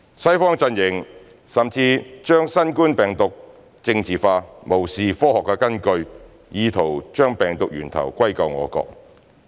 "西方陣營"甚至將新冠病毒疫情政治化，無視科學根據，意圖將病毒源頭歸咎我國。